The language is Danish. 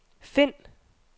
find